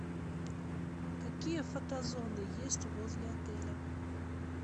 какие фотозоны есть возле отеля